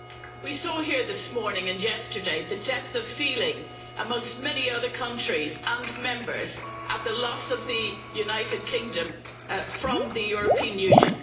Madam President, we saw here this morning and yesterday, the depth of feeling amongst many other countries and Members at the loss of the United Kingdom from the European Union.